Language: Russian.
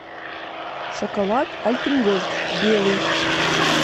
шоколад альпен гольд белый